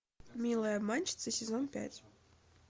милая обманщица сезон пять